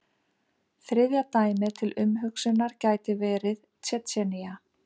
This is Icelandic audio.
Þriðja dæmið til umhugsunar gæti verið Tsjetsjenía.